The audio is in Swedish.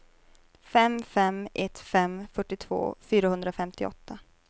fem fem ett fem fyrtiotvå fyrahundrafemtioåtta